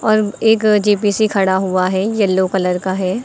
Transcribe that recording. एक जे_बी_सी खड़ा हुआ है येलो कलर का है।